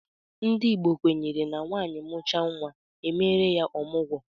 Ndị Igbo kwenyere na nwaanyị mụchaa nwa, e meere ya ọmụgwọ.